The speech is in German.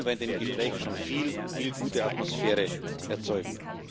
Dann würden wir in den Gesprächen schon viel gute Atmosphäre erzeugen.